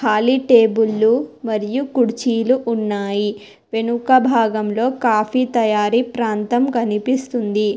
కాలి టేబుళ్ళు మరియు కుర్చీలు ఉన్నాయి వెనుక భాగంలో కాఫీ తయారీ ప్రాంతం కనిపిస్తుంది.